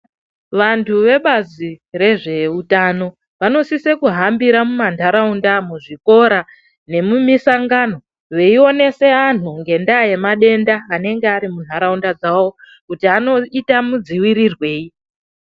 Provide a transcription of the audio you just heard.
Vantu vebazi rezveutano vanosise kuhambira mumantaraunda muzvikora veionese anhu ngendaa yemadenda anenge ari muntaraunda dzawo kuti anoita mudziwirirwei.